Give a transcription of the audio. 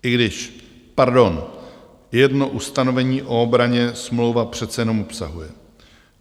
I když, pardon, jedno ustanovení o obraně smlouva přece jenom obsahuje.